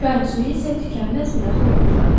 Çayın suyu isə tükənməz bir axınla axardı.